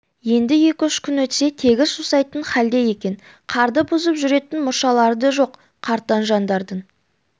енді екі-үш күн өтсе тегіс жусайтын халде екен қарды бұзып жүретін мұршалары да жоқ қартаң жандардың